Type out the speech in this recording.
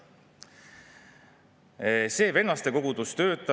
Seetõttu ei saa öelda, et seadus ei võta teistelt midagi ära ega muuda traditsioonilist abielu.